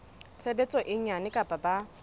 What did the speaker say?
tshebetso e nyane kapa ba